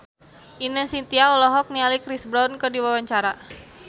Ine Shintya olohok ningali Chris Brown keur diwawancara